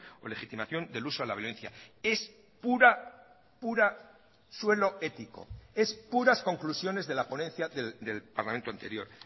o legitimación del uso de la violencia es pura pura suelo ético es puras conclusiones de la ponencia del parlamento anterior